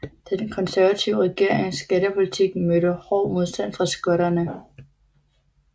Den konservative regerings skattepolitik mødte hård modstand fra skotterne